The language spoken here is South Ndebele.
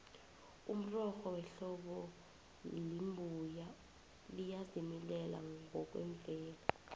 umrorho wehlobo lembuya liyazimilela ngokwemvelo